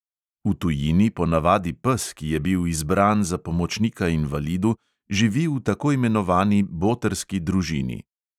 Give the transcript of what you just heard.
V tujini ponavadi pes, ki je bil izbran za pomočnika invalidu, živi v tako imenovani botrski družini.